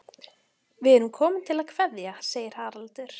Við erum komin til að kveðja, segir Haraldur.